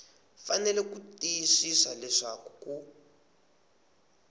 fanele ku tiyisisa leswaku ku